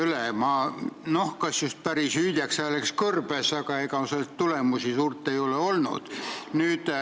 Kas ma olen jäänud just päris hüüdjaks hääleks kõrbes, aga ega tulemusi suurt ei ole olnud.